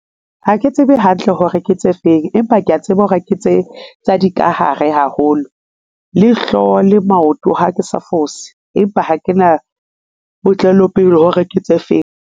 Ha ke tsebe hantle hore ke tse feng, empa kea tseba hore ha ke tse tsa dikahare haholo, le hlooho le maoto ha ke sa fose empa ha ke na botlalo pele hore ke tse feng.